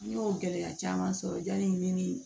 Ne y'o gɛlɛya caman sɔrɔ yani ne ni